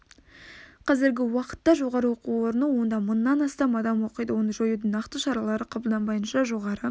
қазіргі уақытта жоғары оқу орны онда мыңнан астам адам оқиды оны жоюдың нақты шаралары қабылданбайынша жоғары